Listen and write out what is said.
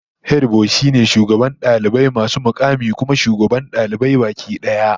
Hediboy shine shugaban dalibai masu mukamai, kuma shugaban dalibai baki daya